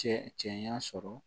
Cɛ cɛya sɔrɔ